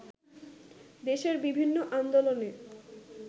দেশের বিভিন্ন আন্দোলনে